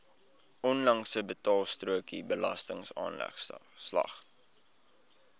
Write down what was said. onlangse betaalstrokie belastingaanslag